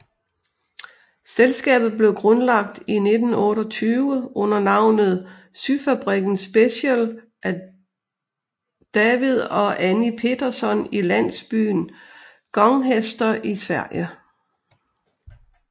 Selskabet blev grundlagt i 1928 under navnet Syfabriken Special af David og Annie Petterson i landsbyen Gånghester i Sverige